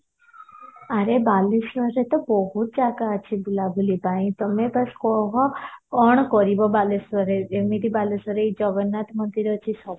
ଆରେ ବାଲେଶ୍ଵରରେ ତ ବହୁତ ଜାଗା ଅଛି ବୁଲା ବୁଲି ପାଇଁ ତମେ ବାସ କୁହ କଣ କରିବା ବାଲେଶ୍ଵରରେ ଯେମିତି ବାଲେଶ୍ଵରରେ ଏଇ ଜଗନ୍ନାଥ ମନ୍ଦିର ଅଛି